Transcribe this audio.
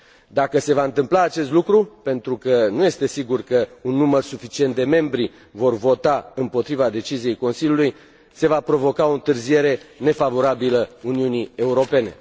Dacă se va întâmpla acest lucru, pentru că nu este sigur că un număr suficient de membri vor vota împotriva deciziei Consiliului, se va provoca o întârziere nefavorabilă Uniunii Europene.